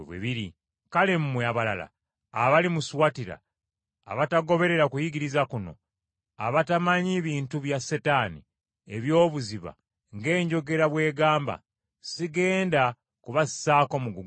Kale mmwe abalala abali mu Suwatira abatagoberera kuyigiriza kuno abatamanyi bintu bya Setaani eby’obuziba ng’enjogera bw’egamba, sigenda kubassaako mugugu mulala.